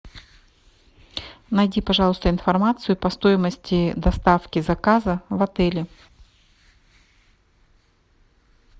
найди пожалуйста информацию по стоимости доставки заказа в отеле